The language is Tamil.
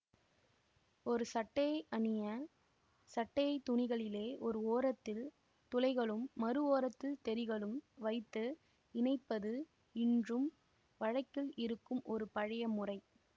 ஒரு சட்டையை அணியச் சட்டை துணிகளிலே ஓர் ஓரத்தில் துளைகளும் மறு ஓரத்தில் தெறிகளும் வைத்து இணைப்பது இன்றும் வழக்கில் இருக்கும் ஒரு பழைய முறை